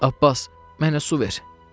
Abbas, mənə su ver!